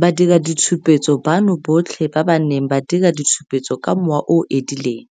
Badiraditshupetso bano botlhe ba ba neng ba dira ditshupetso ka mowa o o edileng,